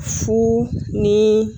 Fo ni